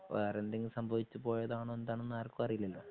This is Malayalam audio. വേറെന്തെങ്കിലും സംഭവിച്ചു പോയതാണൊ എന്താണൊന്നും ആർക്കും അറിയില്ലല്ലോ